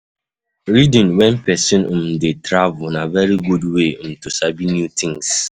Reading when person um dey um travel na very good way um to sabi new thing